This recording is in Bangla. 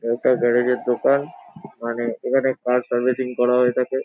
একটা গ্যারেজ এর দোকান মানে এখানে কার সার্ভিসিং করা হয়ে থাকে।